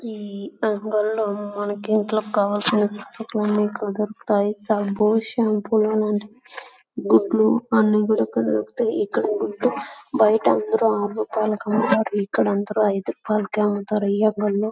ఈ అంగడిలో మనకి ఇంట్లో కావాల్సిన సరుకులన్నీ సబ్బు షాంపూ లు లాంటీవి గుడ్లు అన్ని కూడా ఇక్కడ దొరుకుతాయ్ . ఇక్కడ గుడ్డు బయట అందరూ ఆరు రూపాయలకు అమ్ముతారు. ఇక్కడ అందరూ ఐదు రూపాయలకు అమ్ముతారు.